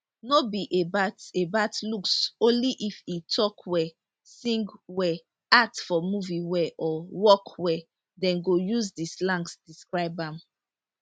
no be about about looks only if e tok well sing well act for movie well or work well dem go use di slangs describe am